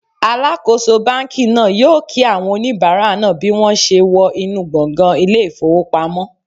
Alakoso banki naa yoo ki awon onibara naa bi won se wo inu gbongan ile ifowopamo